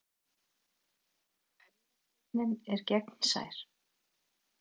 Augasteinninn er gegnsær.